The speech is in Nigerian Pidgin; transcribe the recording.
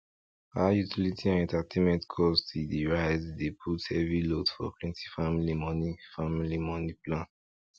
how utility and entertainment cost e dey rise dey put heavy load for plenty family money family money plan